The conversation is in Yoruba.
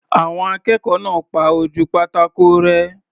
Àwọn akẹ́kọ̀ọ́ náà pa ojú pátákò rẹ́.